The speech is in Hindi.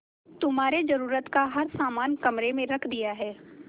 तुम्हारे जरूरत का हर समान कमरे में रख दिया है